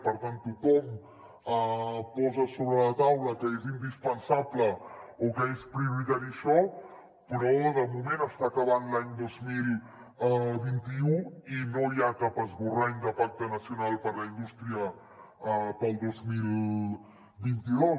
per tant tothom posa sobre la taula que és indispensable o que és prioritari això però de moment està acabant l’any dos mil vint u i no hi ha cap esborrany de pacte nacional per a la indústria per al dos mil vint dos